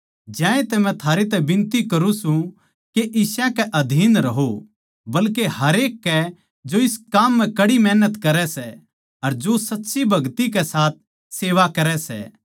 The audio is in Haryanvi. ज्यांतै मै थारै तै बिनती करूँ सूं के इस्यां कै अधीन रहो बल्के हरेक के जो इस काम म्ह कड़ी मेहनती करै सै अर जो सच्ची भगति के साथ सेवा करै सै